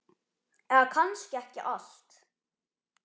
Eða kannski ekki allt.